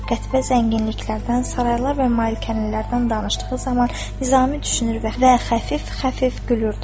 Qətibə zənginliklərdən, saraylar və malikanələrdən danışdığı zaman Nizami düşünür və və xəfif-xəfif gülürdü.